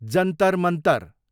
Jantar Mantar